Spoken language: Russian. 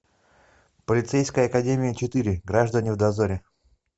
полицейская академия четыре граждане в дозоре